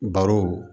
Barow